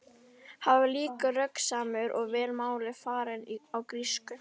Hann var líka röggsamur og vel máli farinn á grísku.